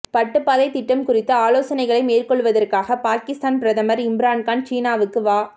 பட்டுப்பாதைத் திட்டம் குறித்து ஆலோசனைகளை மேற்கொள்வதற்காக பாகிஸ்தான் பிரதமர் இம்ரான்கான் சீனாவுக்கு வ